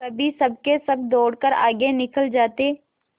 कभी सबके सब दौड़कर आगे निकल जाते